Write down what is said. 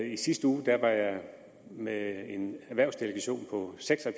i sidste uge var jeg med en erhvervsdelegation på seks og